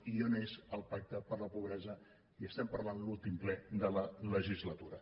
i on és el pacte per la pobresa i estem parlant a l’últim ple de la legislatura